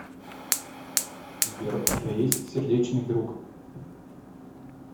сбер у тебя есть сердечный друг